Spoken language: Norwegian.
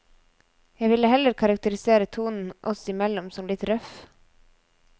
Jeg ville heller karakterisere tonen oss imellom som litt røff.